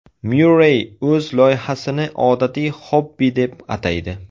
Myurrey o‘z loyihasini odatiy xobbi deb ataydi.